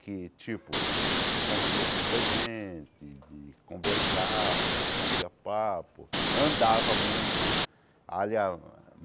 Que tipo, convivia com muita gente, e conversava, batia papo, andava muito.